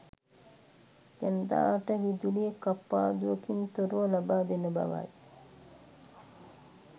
ජනතාවට විදුලිය කප්පාදුවකින් තොරව ලබාදෙන බවයි.